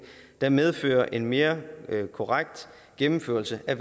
der medfører en mere korrekt gennemførelse af